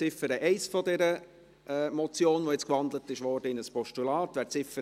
Ziffer 1 der Motion, die nun in ein Postulat gewandelt wurde.